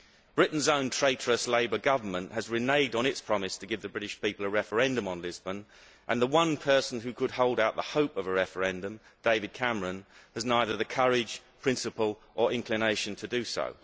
Britain's own traitorous Labour Government has reneged on its promise to give the British people a referendum on Lisbon and the one person who could hold out the hope of a referendum, David Cameron, does not have the courage, principle or inclination to do so.